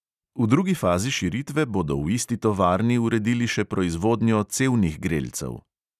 V drugi fazi širitve bodo v isti tovarni uredili še proizvodnjo cevnih grelcev.